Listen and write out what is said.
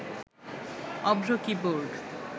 Avro keyboard